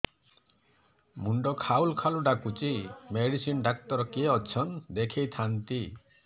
ମୁଣ୍ଡ ଖାଉଲ୍ ଖାଉଲ୍ ଡାକୁଚି ମେଡିସିନ ଡାକ୍ତର କିଏ ଅଛନ୍ ଦେଖେଇ ଥାନ୍ତି